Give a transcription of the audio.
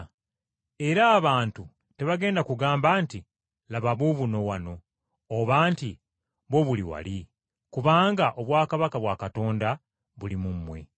era abantu tebagenda kugamba nti, ‘Laba buubuno wano,’ oba nti, ‘Buubuli wali,’ kubanga obwakabaka bwa Katonda buli mu mmwe.”